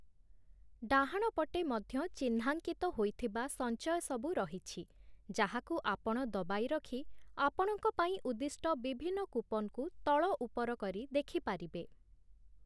ଡାହାଣ ପଟେ ମଧ୍ୟ ଚିହ୍ନାଙ୍କିତ ହୋଇଥିବା ସଞ୍ଚୟସବୁ ରହିଛି, ଯାହାକୁ ଆପଣ ଦବାଇ ରଖି ଆପଣଙ୍କ ପାଇଁ ଉଦ୍ଦିଷ୍ଟ ବିଭିନ୍ନ କୁପନ୍‌କୁ ତଳଉପର କରି ଦେଖିପାରିବେ ।